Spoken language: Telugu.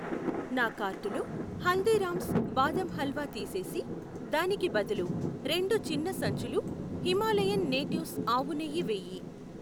నా కార్టులో హల్దీరామ్స్ బాదం హల్వా తీసేసి దానికి బదులు రెండు చిన్న సంచులు హిమాలయన్ నేటివ్స్ ఆవు నెయ్యి వేయి.